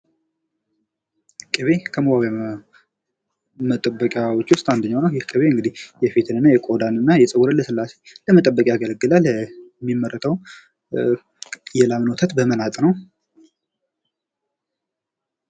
ቅቤ ከመዋቢያ መጠበቂዎች ውስጥ አንደኛው ነው ። ይህ ቅቤ እንግዲህ የፊትንና የቆዳን እና የፀጉርን ልስላሴን ለመጠበቅ ያገለግላል ። የሚመረተውም የላምን ወተት በመናጥ ነው ።